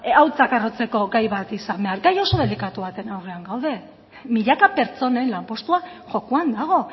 hautsak harrotzeko gai bat izan behar gai oso delikatu baten aurrean gaude milaka pertsonen lanpostua jokoan dago